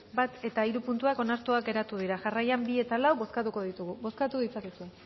bat eta hiru puntuak onartuak geratu dira jarraian bi eta lau bozkatuko ditugu bozkatu ditzakezue